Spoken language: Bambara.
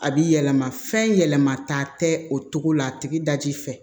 A bi yɛlɛma fɛn yɛlɛma taa tɛ o cogo la a tigi da ji fɛ